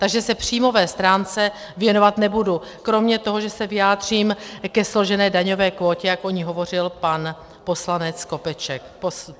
Takže se příjmové stránce věnovat nebudu, kromě toho, že se vyjádřím ke složené daňové kvótě, jak o ní hovořil pan poslanec Skopeček.